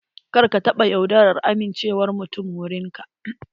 Kar ka taɓa yaudarar amincewar mutum wurin ka.